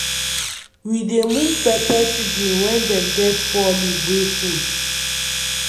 we dey move pepper seedling wen dem get four leaf wey full